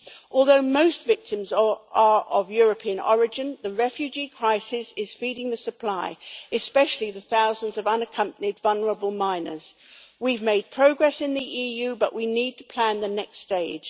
Although most victims or are of European origin, the refugee crisis is feeding the supply, especially the thousands of unaccompanied, vulnerable minors. We have made progress in the EU but we need to plan the next stage.